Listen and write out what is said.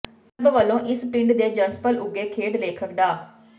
club ਵੱਲੋਂ ਇਸੇ ਪਿੰਡ ਦੇ ਜੰਮਪਲ ਉੱਘੇ ਖੇਡ ਲੇਖਕ ਡਾ